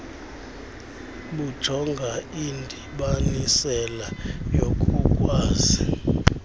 bujonga indibanisela yokukwazi